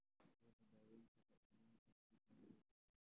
Sidee loo daweyn karaa isugeynta guud ee myopathy?